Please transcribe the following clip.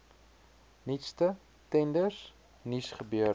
nuutste tenders nuusgebeure